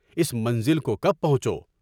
اس منزل کوکب پہنچو؟